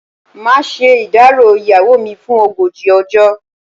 Màá ṣe ìdárò ìyàwó mi fún ogójì ọjọ́.